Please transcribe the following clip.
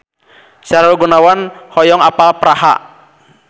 Sahrul Gunawan hoyong apal Praha